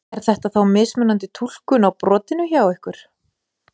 Er þetta þá mismunandi túlkun á brotinu hjá ykkur?